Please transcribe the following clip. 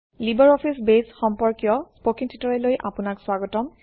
LibreOffice Base সম্পৰ্কীয় স্পকেন ট্যুটৰিয়েললৈ আপোনাক স্বাগতম